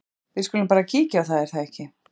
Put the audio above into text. Við skulum bara kíkja á það, er það ekki?